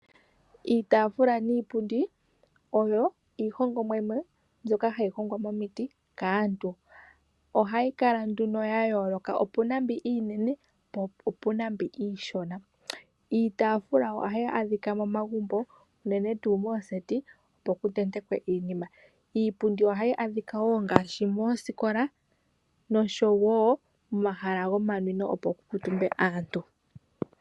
Iitafula niipundi oyo iihongomwa yimwe mbyoka hayi hongwa momiti kaantu ohayikala nduno ya yooloka opuna yimwe iinene po opuna yimwe iishona. Iitafula ohayaadhika momagumbo unene tuu mooseti opo kutentekwe iinima. Iipundi ohayaadhika moosikola nosho woo momahala gokunwina kaantu.